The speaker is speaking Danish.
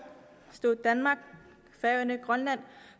stod danmark færøerne og grønland